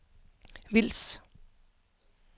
Vils